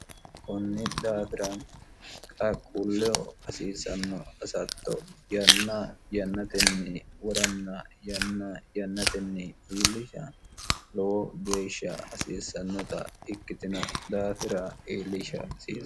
kunni daafira qaqquulleho hasiissanno hasatto yanna yannatenni woranna yanna yannatenni illisha lowo geeshsha hasiissannota ikkitino daafira illisha hasi